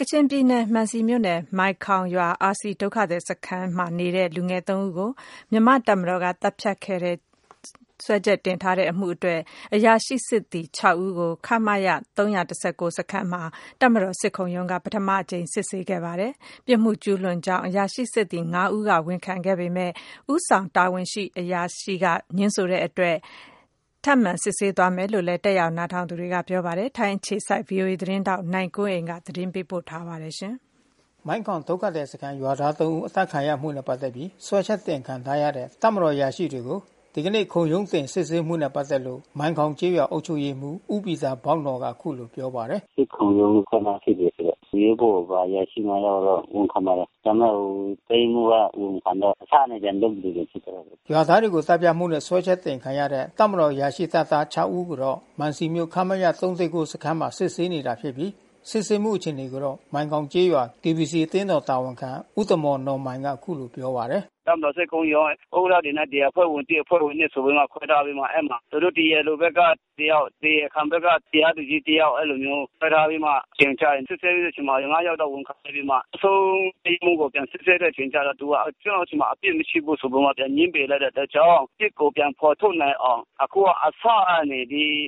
ကချင်ပြည်နယ် မံစီမြို့နယ် မိုင်ခေါင်ရွာ RCဒုက္ခသည်စခန်းနေလူငယ် ဦးကို မြန်မာတပ်မတော်ကနေ သတ်ဖြတ်ခဲ့တယ် လို့ စွဲချက်တင်ထားမှုနဲ့ပက်သက်ပြီး အရာရှိစစ်သည် ဦးကို ခမရ ၃၁၉ စခမ်းမှာတပ်မတော်စစ်ခုံရုံးကနေ ပထမအကြိမ် စစ်ဆေးခဲ့တာပါ။ ပြစ်မှုကျူးလွန်ကြောင်းအရာရှိစစ်သည် ဦးကဝန်ခံခဲ့ပေမဲ့ ဦးဆောင်တာဝန်ရှိအရာရှိကငြင်းဆိုခဲ့ တာ ကြောင့် ထပ်မံစစ်ဆေးသွားမယ်လို့လဲ တက်ရောက်နားထောင်သူတွေကပြောပါတယ်။ ဗွီအိုအေ ထိုင်းအခြေစိုက် သတင်းထောက်နိုင်ကွန်းအိန်ကနေ အခုလိုသတင်းပေးပို့ထား ပါတယ်။ မိုင်းခေါင်ဒုက္ခသည်စခမ်းရွာသား ဦးအသတ်ခံရမှုနဲ့ပက်သက်ပြီး စွဲချက်တင်ခံထားရတဲ့တပ်မတော်အရာရှိတွေကို ဒီက နေ့ ခုံရုံးစစ်ဆေးမှုနဲ့ပက်သက်လို့ မိုင်းခေါင်ကျေးရွာ အုပ်ချုပ်ရေးမှူး ဦးပီတာဘောက်နော်ကအခုလိုပြောပါတယ်။ "စစ်ခုံရုံးအဖွဲ့မှစစ်တယ်ဆိုတော့ ရဲဘော် အရာရှိ ယောက်ကတော့ဝန်ခံပါတယ်။ ဒါပေမဲ့တပ်ရင်းမှူးကဝန်မခံတော့ အစကနေပြန်လုပ်သလိုဖြစ်သွားတာပေါ့။" ရွာသားတွေကိုသတ်ဖြတ်မှုနဲ့စွဲချက်တင်ခံရတဲ့ တပ်မတော်အရာရှိတပ်သား ဦးကိုတော့ မံစီမြို့ ခမရ ၃၁၉ စခမ်းမှာ စစ်ဆေးနေတာဖြစ်ပြီး စစ်ဆေးမှုအခြေအနေကိုတော့ မိုင်ခေါင်ကျေးရွာKBCအသင်းတော်တာဝန်ခံ ဦးတမော်နော်မိုင်က အခုလိုပြောပါတယ်။ "တပ်မတော်စစ်ခုံရုံးက ဥက္ကဌတွေနဲ့အဖွဲ့ဝင် အဖွဲ့ဝင် ဆိုပြီးမှ ထွဲထားပြီးမှ သူတို့တရားလိုဘက်ကတယောက် တရားခံဘက်ကတယောက်တရားသူကြီး ခွဲထားပြီးမှ တင်ချနေတာ။ စစ်ဆေးတဲ့အချိန်မှာ ယောက်ကဝန်ခံပြီးတော့မှ နောက်ဆုံး တပ်ရင်းမှူးကို စစ်ဆေးတဲ့အချိန်ကျမှ သူကကျွန်တော်ဆီမှာ အပြစ်မရှိဘူးဆိုပြီးမှ ပြန်ငြင်းပယ်တဲ့အတွက်ကြောင့် အပြစ်ကိုပြန်ဖေါ်ထုတ်နိုင်အောင် အစကနေ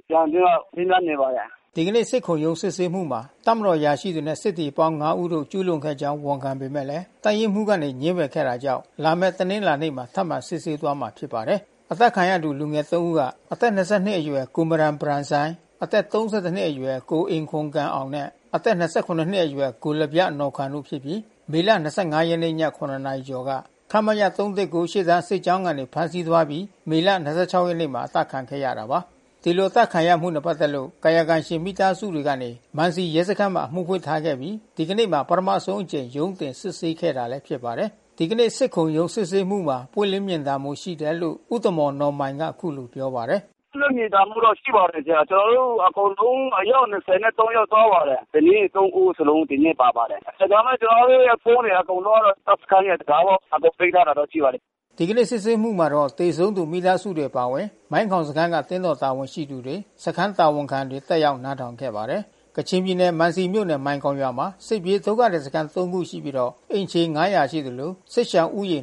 ပြန်ပြီးမေးမြန်းနေပါတယ်။" ဒီကနေ့စစ်ခုံရုံးစစ်ဆေးမှုမှာ တပ်မတော်အရာရှိတွေနဲ့စစ်သည်အပေါင်း ဦးတို့ ကျူးလွန်ခဲ့ကြောင်း ဝန်ခံခဲ့ပေမဲ့ တပ်ရင်း မှူး ကနေငြင်းပယ်ခဲ့တာကြောင့် လာမဲ့ တနင်္လာနေ့မှာ ထပ်မံစစ်ဆေးသွားမှာဖြစ်ပါတယ်။ အသတ်ခံရသူလူငယ် ဦးက အသက် ၂၂နှစ်အရွယ် ကိုမရန်ဘရန်ဆိုင်း၊အသက် ၃၁ နှစ်အရွယ် ကိုအင်ခွမ်ဂမ် အောင်နဲ့ အသက် ၂၇ နှစ်အရွယ် ကိုလဗျနော်ခွမ်တို့ဖြစ်ကြပြီး မေ ၂၅ ရက်ည ၇ နာရီကျော်က ခမရ ၃၁၉ ရှေ့တန်း စစ်ကြောင်း ကနေဖမ်းဆီးသွားပြီး မေလ ရက်နေ့မှာအသတ်ခံခဲ့ရတာပါ။ ဒီလိုအသတ်ခံရမှုနဲ့ပက်သက်လို့ကာယကံရှင်မိသားစုဝင်တွေကနေ မံစီရဲစခမ်းမှာ အမှုဖွင့်ထားခဲ့ အပြီး ဒီကနေ့မှာ ပထမဆုံး အကြိမ်ရုံးတင် စစ်ဆေးခဲ့တာလဲဖြစ်ပါတယ်။ ဒီကနေ့စစ်ခုံရုံးစစ်ဆေးမှုမှာ ပွင့်လင်းမြင်သာမှုရှိတယ်လို့ ဦးတမော်နော်မိုင်က အခုလိုပြောပါတယ်။ "ပွင့်လင်းမြင်သာမှုတော့ရှိပါတယ်ဗျ။ ကျွန်တော်တို့အကုန်လုံး အယောက် ယောက် သွားပါတယ်။ အသတ်ခံရသူ ဇနီးသည် ဦးလုံး ဒီနေ့ပါပါတယ်။ ဒါပေမဲ့ကျွန်တော်တို့ဖုန်းတွေအကုန်လုံးကတော့ တပ်ရဲ့တံခါးဝမှာသိမ်းထားတာ တော့ရှိပါတယ်။" ဒီကနေ့စစ်ဆေးမှုမှာ သေဆုံးသူမိသားစုတွေအပါအဝင် မိုင်ခေါင်စခမ်းက အသင်းတော်တာဝန်ရှိတွေ စခန်းတာဝန်ခံတွေ တက်ရောက်နားထောင်ခဲ့ပါတယ်။ ကချင်ပြည်နယ် မံစီမြို့နယ် မိုင်ခေါင်ရွာမှာ စစ်ပြေးဒုက္ခသည်စခမ်း ခုရှိပြီး အိမ်ခြေ ခန့်ရှိသလို စစ်ရှောင်ဦး ရေ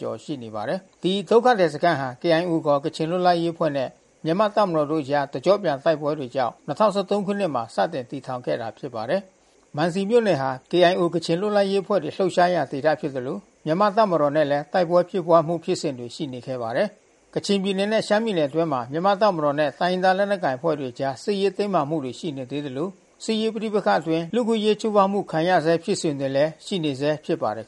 ကျော်ရှိနေပါတယ်။ ဒီဒုက္ခသည်စခမ်းဟာ KIOခေါ်ကချင်လွတ်လပ်ရေးအဖွဲ့နဲ့မြန်မာ့တပ်မတော်တို့အကြား တကျော့ပြန်တိုက်ပွဲတွေ ကြောင့် ၂၀၁၃ခုနှစ်မှာ စတင်တည်ထောင်ခဲ့တာဖြစ်ပါတယ်။ မံစီမြို့နယ်ဟာ KIOကချင်လွတ်လပ်ရေးအဖွဲ့တွေလှုပ်ရှားရာဒေသဖြစ်သလို မြန်မာ့တပ်မတော်နဲ့လဲ တိုက်ပွဲဖြစ်ပွါးမှု ဖြစ်စဉ် တွေရှိနေခဲ့ပါတယ်။ ကချင်ပြည်နယ်နဲ့ရှမ်းပြည်နယ်အတွင်းမှာ မြန်မာ့တပ်မတော်နဲ့ တိုင်းရင်းသား လက်နက်ကိုင်အဖွဲ့တွေအကြား စစ်ရေး တင်းမာမှုတွေရှိနေသေးသလို စစ်ရေးပဋိပက္ခအတွင်း လူ့အခွင့်အရေးချိုးဖေါက်မှုခံနေရဆဲ ဖြစ်စဉ်တွေလဲရှိနေဆဲဖြစ် ပါတယ်